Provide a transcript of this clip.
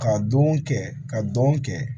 Ka don kɛ ka don kɛ